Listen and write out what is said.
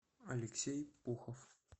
алексей пухов